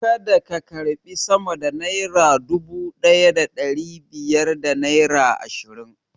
Kada ka karbi sama da naira dubu ɗaya da ɗari biyar da naira ashirin!